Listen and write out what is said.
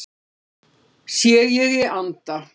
Sé ég í anda